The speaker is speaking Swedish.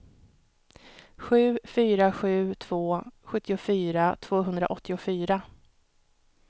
sju fyra sju två sjuttiofyra tvåhundraåttiofyra